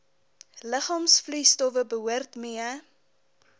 liggaamsvloeistowwe behoort mee